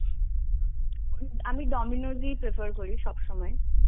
আমি Dominos এ prefer করি সবসময়.